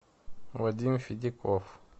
вадим федяков